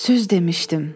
Söz demişdim.